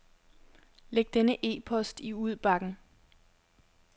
Læg denne e-post i udbakken.